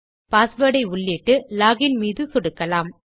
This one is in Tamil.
பாஸ்வேர்ட் ஐ உள்ளிட்டு லோகின் மீது சொடுக்கலாம்